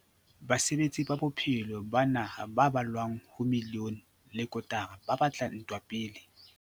Basebetsi ba bophelo ba naha ba ballwang ho miliyone le kotara ba tla entwa pele.